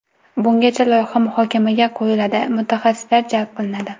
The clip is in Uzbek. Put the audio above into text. Bungacha loyiha muhokamaga qo‘yiladi, mutaxassislar jalb qilinadi.